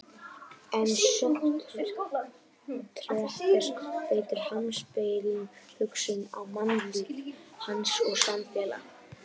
En Sókrates beitir heimspekilegri hugsun á manninn, líf hans og samfélag.